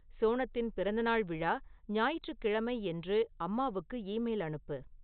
சோனத்தின் பிறந்தநாள் விழா ஞாயிற்றுக்கிழமை என்று அம்மாவுக்கு ஈமெயில் அனுப்பு